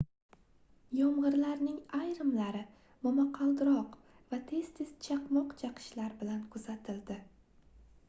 yomgʻirlarning ayrimlari momaqaldiroq va tez-tez chaqmoq chaqishlar bilan kuzatildi